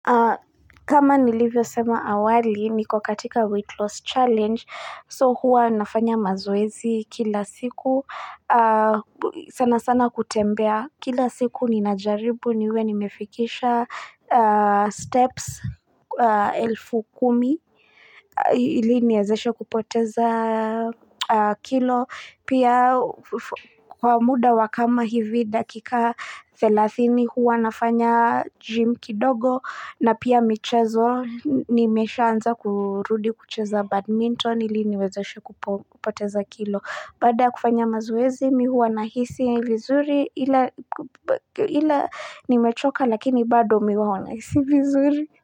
Kama nilivyo sema awali niko katika weight loss challenge so hua nafanya mazoezi kila siku sana sana kutembea kila siku ninajaribu niwe nimefikisha steps elfu kumi ili niezeshe kupoteza kilo pia kwa muda wa kama hivi dakika 30 hua nafanya gym kidogo na pia michezo nimeshaanza kurudi kucheza badminton ili niwezeshe kupoteza kilo. Baada kufanya mazoezi mi huwa na hisi vizuri ila nimechoka lakini bado mi huwa na hisi vizuri.